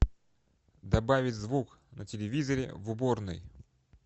добавить звук на телевизоре в уборной